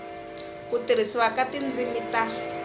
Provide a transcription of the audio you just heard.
ku tirhisiwa ka tindzimi ta